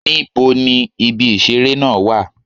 Níbo ni ibi ìṣeré náà wà?